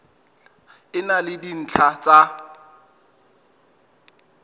e na le dintlha tsa